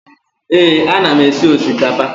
Ee, ana m esi osikapa.